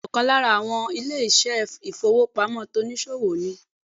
Bẹ́ẹ̀ni ọ̀kan lára àwọn ilé ìṣẹ́ ìfowópamọ́ tonìsòwò ni